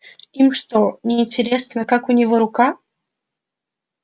им что неинтересно как у него рука